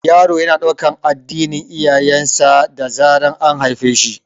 Yaro yana ɗaukan addinin iyayen sa da zaran an haife shi